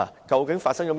究竟發生了甚麼事？